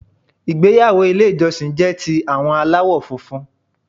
Ìgbéyàwó Ilé ìjọsìn jé ti àwọn aláwò funfun